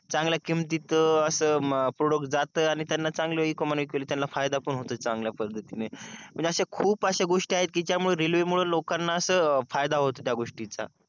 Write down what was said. चांगल्या किमतीत अस प्रोडूस जात आणि त्यांना चांगल इकॉनॉमीली फायदा पण होत चांगल्या पद्धतीने म्हणजे अश्या खूप अश्या गोष्टी आहेत कि ज्यामुळेरेल्वे मुळे लोकाना अस फायदा होतो त्या गोष्टीच